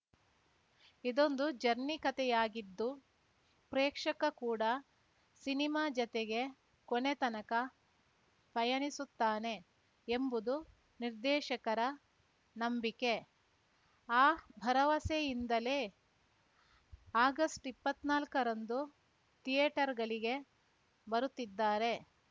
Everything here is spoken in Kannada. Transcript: ಇದೊಂದು ಜರ್ನಿ ಕತೆಯಾಗಿದ್ದು ಪ್ರೇಕ್ಷಕ ಕೂಡ ಸಿನಿಮಾ ಜತೆಗೆ ಕೊನೆ ತನಕ ಪಯಣಿಸುತ್ತಾನೆ ಎಂಬುದು ನಿರ್ದೇಶಕರ ನಂಬಿಕೆ ಆ ಭರವಸೆಯಿಂದಲೇ ಆಗಸ್ಟ್ಇಪ್ಪತ್ನಾಲ್ಕರಂದು ಥಿಯೇಟರ್‌ಗಳಿಗೆ ಬರುತ್ತಿದ್ದಾರೆ